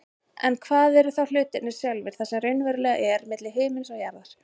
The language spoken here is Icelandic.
En hvað eru þá hlutirnir sjálfir, það sem raunverulega er milli himins og jarðar?